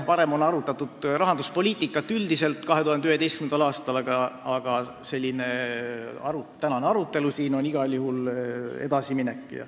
Varem on arutatud rahanduspoliitikat üldiselt, seda tehti 2011. aastal, aga tänane arutelu on igal juhul edasiminek.